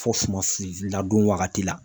Fɔ suman sinzin ladon wagati la